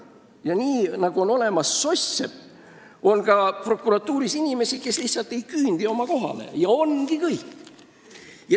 Ja nii nagu on olemas soss-seppi, on ka prokuratuuris inimesi, kes lihtsalt ei küündi oma kohani, ja ongi kõik.